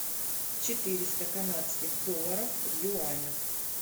четыреста канадских долларов в юанях